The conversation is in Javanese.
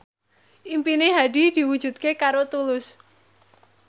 impine Hadi diwujudke karo Tulus